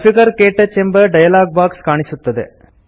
configure - ಕ್ಟಚ್ ಎಂಬ dialog box ಕಾಣಿಸುತ್ತದೆ